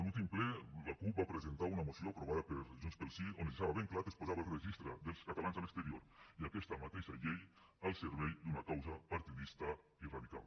l’últim ple la cup va presentar una moció aprovada per junts pel sí on es deixava ben clar que es posava el registre dels catalans a l’exterior i aquesta mateixa llei al servei d’una causa partidista i radical